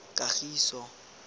kagiso